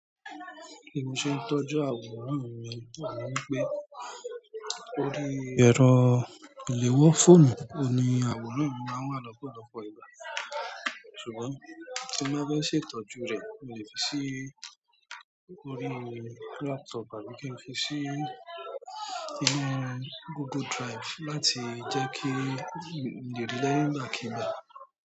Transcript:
Bi mo ṣe ń tọ́jú àwòrán mi wà ní pé kórí ẹ̀rọ ìléwọ́ fóònù ni àwòrán mi máa ń wà lọ́pọ̀lọpọ̀ ìgbà. Ṣùgbọ́n tí mọ́ bá ṣe ìtọ́jú rẹ̀, mo lè fi sí orí laptop àbí kí n fi sí inú Google Drive láti jẹ́ kí lè ri i ní ìgbà kiigbà.